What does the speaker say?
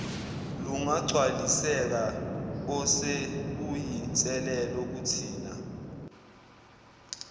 lungagcwaliseka osekuyinselelo kuthina